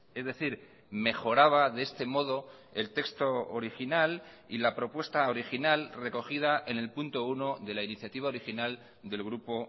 es decir mejoraba de este modo el texto original y la propuesta original recogida en el punto uno de la iniciativa original del grupo